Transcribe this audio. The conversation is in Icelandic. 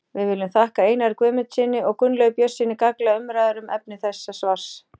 Við viljum þakka Einari Guðmundssyni og Gunnlaugi Björnssyni gagnlegar umræður um efni þessa svars.